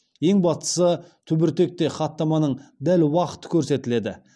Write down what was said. ең бастысы түбіртекте хаттаманың дәл уақыты көрсетіледі